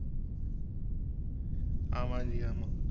ஆமாம் ஜி ஆமாம்.